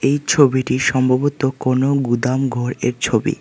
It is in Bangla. এই ছবিটি সম্ভবত কোনো গুদামঘরের ছবি।